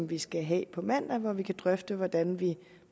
vi skal have på mandag hvor vi kan drøfte hvordan vi